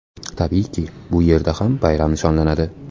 Tabiiyki, bu yerda ham bayram nishonlanadi.